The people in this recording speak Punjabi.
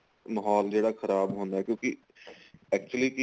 ਮਾਹੋਲ ਜਿਹੜਾ ਖਰਾਬ ਹੁੰਦਾ ਕਿਉਂਕਿ actually ਕੀ ਏ